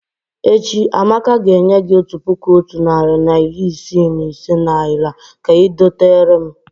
Echi, Amaka ga enye gi Otu puku Otu nari na iri Isii na ise naira ka I doterem